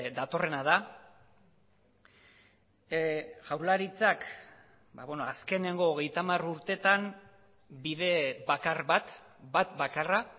datorrena da jaurlaritzak azkeneko hogeita hamar urteetan bide bakar bat bat bakarra